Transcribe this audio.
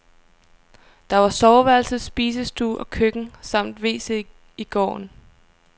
Der var soveværelse, spisestue og køkken samt wc i gården.